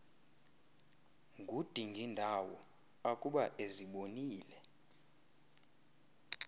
ngudingindawo akuba ezibonile